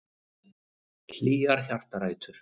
Hlýjar hjartarætur.